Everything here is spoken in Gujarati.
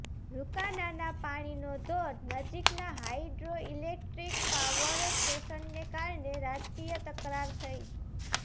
રુકાનાના પાણીનો ધોધ નજીકના હાઇડ્રોઇલેક્ટ્રિક પાવર સ્ટેશનને કારણે રાજકીય તકરાર થઈ